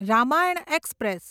Ramayana express